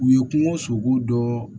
U ye kungo sogo dɔn